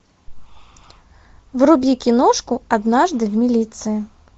вруби киношку однажды в милиции